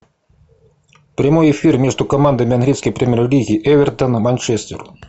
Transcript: прямой эфир между командами английской премьер лиги эвертон и манчестер